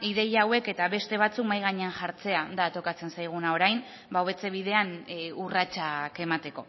ideia hauek eta beste batzuk mahai gainean jartzea da tokatzen zaiguna orain hobetze bidean urratsak emateko